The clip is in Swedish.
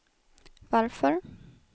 varför